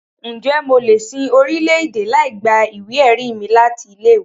Ǹjẹ́ mo lè lọ sin orílẹ̀-èdè láì gba ìwé-ẹ̀rí mi láti ilé-ìwé?